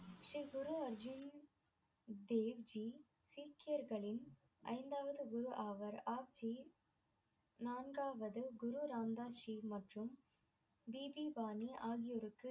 தேவ் ஜி சீக்கியர்களின் ஐந்தாவது குரு ஆவார் ஆப்ஜி நான்காவது குரு ராம்தாஸ்ஜி மற்றும் நீதிபானி ஆகியோருக்கு